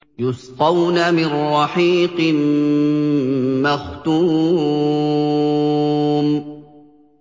يُسْقَوْنَ مِن رَّحِيقٍ مَّخْتُومٍ